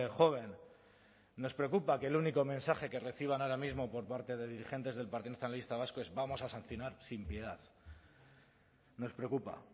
joven nos preocupa que el único mensaje que reciban ahora mismo por parte de dirigentes del partido nacionalista vasco es vamos a sancionar sin piedad nos preocupa